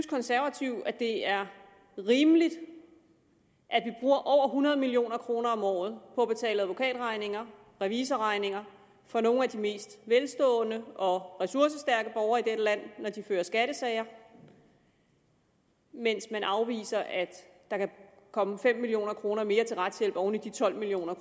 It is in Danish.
konservative at det er rimeligt at over hundrede million kroner om året på at betale advokatregninger revisorregninger for nogle af de mest velstående og ressourcestærke borgere i dette land når de fører skattesager mens man afviser at der kan komme fem million kroner mere til retshjælp oven i de tolv million